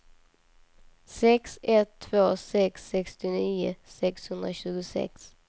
sex ett två sex sextionio sexhundratjugosex